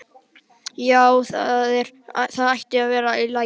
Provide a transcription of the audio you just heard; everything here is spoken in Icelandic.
Já, það ætti að vera í lagi.